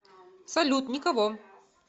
салют никого